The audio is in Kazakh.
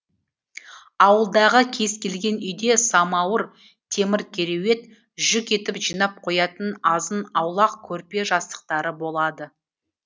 ауылдағы кез келген үйде самауыр темір кереует жүк етіп жинап қоятын азын аулақ көрпе жастықтары болады